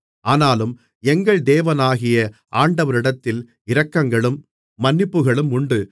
ஆனாலும் எங்கள் தேவனாகிய ஆண்டவரிடத்தில் இரக்கங்களும் மன்னிப்புகளும் உண்டு